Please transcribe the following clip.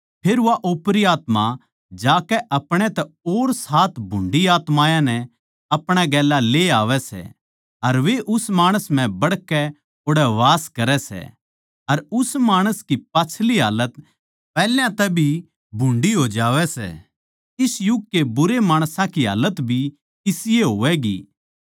फेर वा ओपरी आत्मा जाकै अपणे तै और भुंडी सात आत्मायाँ नै अपणे गेल्या ले आवै सै अर वे उस माणस म्ह बड़कै ओड़ै बास करै सै अर उस माणस की पाच्छली हालत पैहल्या तै भी भुंडी हो जावै सै इस युग के बुरे माणसां की हालत भी इसी ए होवैगी